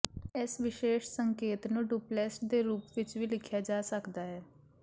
ਇਸ ਵਿਸ਼ੇਸ਼ ਸੰਕੇਤ ਨੂੰ ਡੁਪਲੈਸਟ ਦੇ ਰੂਪ ਵਿੱਚ ਵੀ ਲਿਖਿਆ ਜਾ ਸਕਦਾ ਹੈ